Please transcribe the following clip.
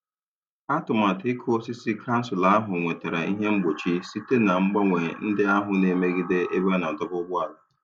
Atụmatụ ịkụ osisi kansụl ahụ nwetara ihe mgbochi site na mgbanwe ndị ahụ na-emegide ebe a na-adọba ụgbọala.